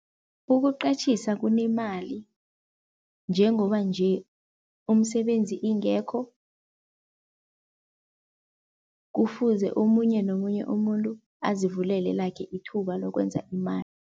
Ukuqatjhisa kunemali njengoba nje umsebenzi ingekho, kufuze omunye nomunye umuntu azivulele lakhe ithuba lokwenza imali.